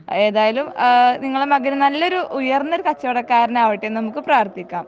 ഏതായാലും ആഹ് നിങ്ങളെ മകന് നല്ലൊരു ഉയർന്നൊരു കച്ചവടക്കാരൻ ആവട്ടേന്ന് നമുക് പ്രാർത്ഥിക്കാം